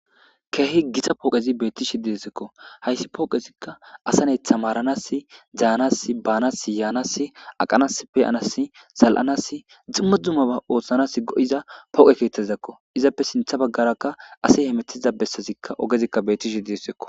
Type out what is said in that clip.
Keehi gita pooqezi beetishi diesekko hayssi pooqezikka asanetha maranas jaanas baanas yaanass aqanas peyanas zal'anas ximma dzuma ba oothshanas go'iza pooqe keetazidakko izappe sintha baggarakka ase hemetiza bessazikka ogezikka bettishi diessekko.